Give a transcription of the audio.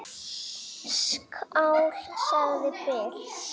Skál, sagði Bill.